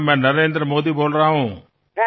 मी नरेंद्र मोदी बोलतो आहे